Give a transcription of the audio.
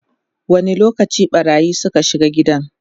wani lokaci ɓarayin Suka shiga gidan?